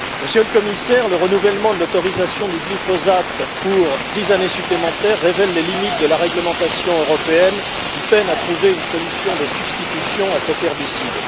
Monsieur le Président, Monsieur le Commissaire, le renouvellement de l'autorisation du glyphosate pour dix années supplémentaires révèle les limites de la réglementation européenne, qui peine à trouver une solution de substitution à cet herbicide.